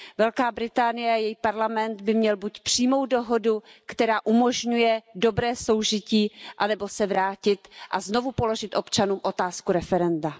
Velká Británie a její parlament by měl buď přijmout dohodu, která umožňuje dobré soužití, anebo se vrátit a znovu položit občanům otázku referenda.